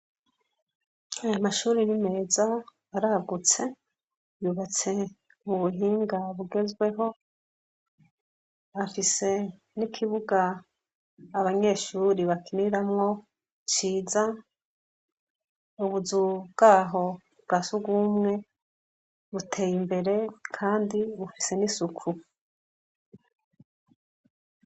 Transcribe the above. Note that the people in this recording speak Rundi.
Aha mashuri r'imeza baragutse yubatse mu buhinga bugezweho afise n'ikibuga abanyeshuri bakiniramwo ciza ubuzubwaho bwa si ugumwe buteye imbere e, kandi gufise n'isuku.